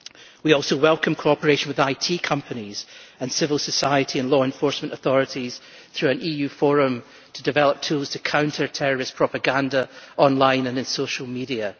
We also welcome cooperation with IT companies and civil society and law enforcement authorities through an EU forum to develop tools to counter terrorist propaganda online and in social media.